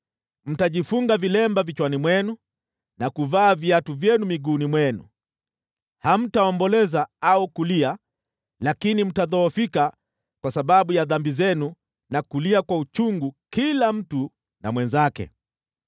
Mtajifunga vilemba vichwani mwenu na kuvaa viatu vyenu miguuni mwenu. Hamtaomboleza au kulia, lakini mtadhoofika kwa sababu ya dhambi zenu na kulia kwa uchungu kila mtu na mwenzake.